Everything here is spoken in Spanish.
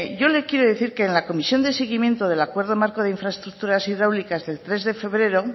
yo le quiero decir que en la comisión de seguimiento del acuerdo marco de infraestructuras hidráulicas del tres de febrero